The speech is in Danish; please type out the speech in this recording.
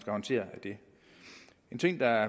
at håndtere det en ting der